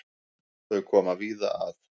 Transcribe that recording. Þau koma víða að.